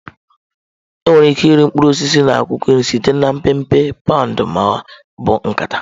Enwere ike ịre mkpụrụ osisi na akwụkwọ nri site na mpempe, paụnd ma ọ bụ nkata.